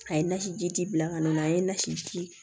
A ye nasi ji bila ka na a ye nasiji